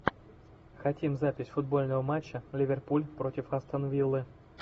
хотим запись футбольного матча ливерпуль против астон виллы